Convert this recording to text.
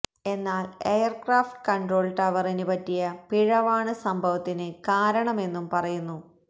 എന്നാല് aircraft control ടവറിന് പറ്റിയ പിഴവാണ് സംഭവത്തിന് കാരണമെന്നും പറയുന്നു